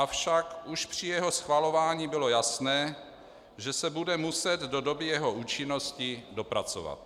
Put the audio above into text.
Avšak už při jeho schvalování bylo jasné, že se bude muset do doby jeho účinnosti dopracovat.